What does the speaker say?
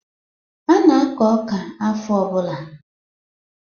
A na-akọ ọka afọ ọbụla.